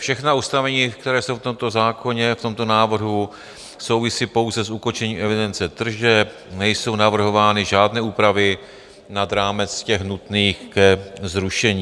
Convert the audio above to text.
Všechna ustanovení, která jsou v tomto zákoně, v tomto návrhu, souvisí pouze s ukončením evidence tržeb, nejsou navrhovány žádné úpravy nad rámec těch nutných ke zrušení.